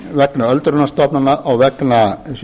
vegna öldrunarstofnana og vegna